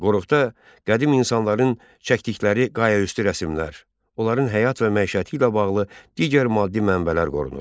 Qoruqda qədim insanların çəkdikləri qayaüstü rəsmlər, onların həyat və məişəti ilə bağlı digər maddi mənbələr qorunur.